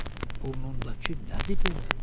Sənin burnundakı nədir belə?